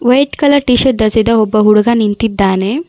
White colour T shirt ಧರಿಸಿದ ಒಬ್ಬ ಹುಡುಗ ನಿಂತಿದ್ದಾನೆ.